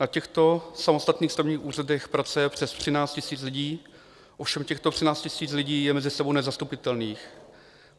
Na těchto samostatných stavebních úřadech pracuje přes 13 000 lidí, ovšem těchto 13 000 lidí je mezi sebou nezastupitelných.